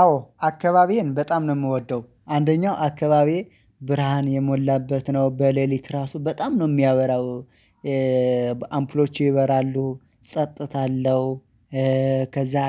አዎ አካባቢዬን በጣም ነው የምወደው አንደኛው አካባቢዬ ብርሃን የሞላበት ነው በሌሊት ራሱ በጣም ነው የሚያበራው። አምፖሎቹ ይበራሉ ፅጥታ አለው።